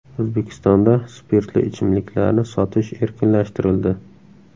O‘zbekistonda spirtli ichimliklarni sotish erkinlashtirildi.